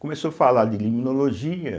começou falar de limnologia.